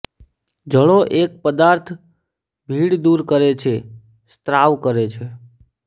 જળો એક પદાર્થ ભીડ દૂર કરે છે સ્ત્રાવ કરે છે